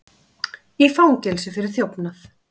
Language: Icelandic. Í fangelsi fyrir þjófnað